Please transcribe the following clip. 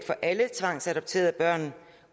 for alle tvangsadopterede børn